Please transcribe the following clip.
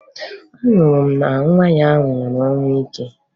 Anụrụ m na nwa ya nwụrụ ọnwụ ike